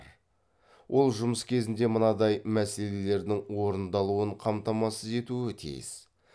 ол жұмыс кезінде мынадай мәселелердің орындалуын қамтамасыз етуі тиіс